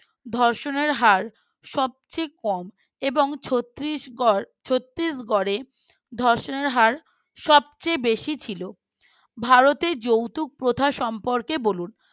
ধর্ষণের হার সবচেয়ে কম এবং ছত্রিশগড় ছত্রিশগড়ে ধর্ষণের হার সবচেয়ে বেশি ছিল ভারতের যৌথ প্রথা সম্পর্কে বলুন।